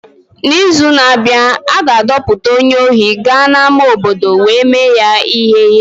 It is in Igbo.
N’izu na-abịa, a ga-adọkpụpụta onye ohi gaa n'ama obodo wee mee ya ihere.